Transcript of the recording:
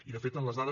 i de fet les dades